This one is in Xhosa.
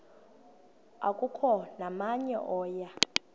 akukho namnye oya